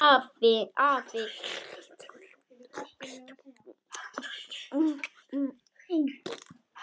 Afi treysti því.